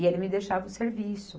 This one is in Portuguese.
E ele me deixava o serviço.